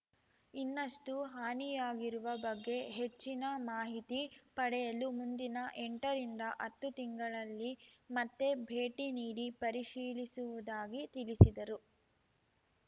ಇನ್ನಷ್ಟುಹಾನಿಯಾಗಿರುವ ಬಗ್ಗೆ ಹೆಚ್ಚಿನ ಮಾಹಿತಿ ಪಡೆಯಲು ಮುಂದಿನ ಎಂಟ ರಿಂದಹತ್ತು ತಿಂಗಳಲ್ಲಿ ಮತ್ತೆ ಭೇಟಿ ನೀಡಿ ಪರಿಶೀಲಿಸುವುದಾಗಿ ತಿಳಿಸಿದರು